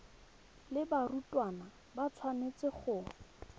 le barutwana ba tshwanetse go